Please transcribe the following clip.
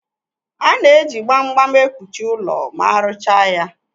A na-eji gbam gbam ekpuchi ụlọ ma aruchaa ya.